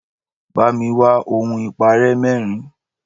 Bá mi wá ohun-ìparẹ́ mẹ́rin